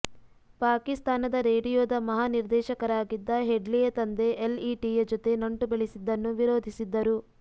ಪಾಕಿಸ್ತಾನದ ರೇಡಿಯೊದ ಮಹಾ ನಿರ್ದೇಶಕರಾಗಿದ್ದ ಹೆಡ್ಲಿಯ ತಂದೆ ಎಲ್ಇಟಿಯ ಜೊತೆ ನಂಟು ಬೆಳೆಸಿದ್ದನ್ನು ವಿರೋಧಿಸಿದ್ದರು